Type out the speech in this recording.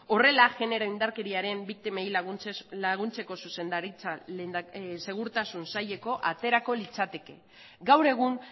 horrela genero indarkeriaren biktimei laguntzeko zuzendaritza segurtasun saileko aterako litzateke gaur egun